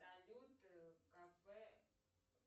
салют кафе